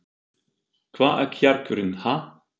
Hvar er kjarkurinn, ha?